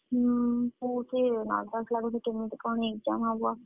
ହୁଁ ବହୁତ୍ ହିଁ nervous ଲାଗୁଛି, କେମିତି କଣ exam ହବ।